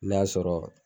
N'a sɔrɔ